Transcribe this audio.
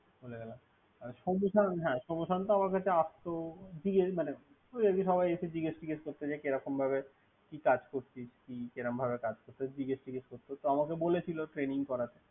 ভুলে গেলাম, সোম্যশান্ত আসতো। জিগেস করত। সবাই একটু জেগেস চিগেস করত, কে রকম ভাব, কি কাজ করতি, কি তো আমকে বলেছিল Trainig করাতে।